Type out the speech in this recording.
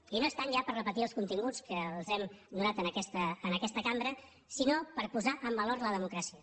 i no és tant ja per repetir els continguts que els hem donat en aquesta cambra sinó per posar en valor la democràcia